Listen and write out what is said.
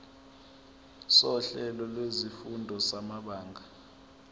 sohlelo lwezifundo samabanga